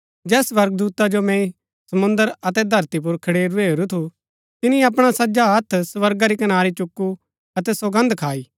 जैस स्वर्गदूता जो मैंई समुंद्र अतै धरती पुर खडुरै हेरू थू तिनी अपणा सज्जा हत्थ स्वर्गा री कनारी चुकु अतै सौगन्द खाई